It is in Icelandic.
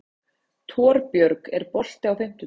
Torbjörg, er bolti á fimmtudaginn?